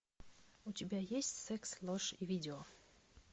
у тебя есть секс ложь и видео